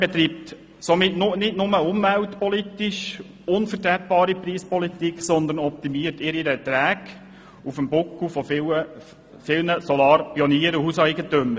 Die BKW betreibt somit nicht nur umweltpolitisch eine unvertretbare Preispolitik, sondern optimiert ihre Erträge auf dem Buckel vieler Solarpioniere und Hauseigentümer.